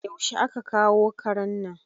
Yaushe a ka kawo karen nan?